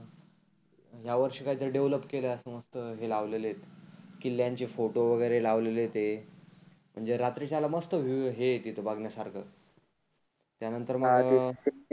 ह्या वर्षी काही तरी डेव्हलोप केलं हे लावलेलं आहे. किल्ल्यांचे फोटो वगैरे लावलेले ते. म्हणजे रात्रीच्याला मस्त व्हिएव हे आहे तीथं बघण्या सारख. त्यानंतर मग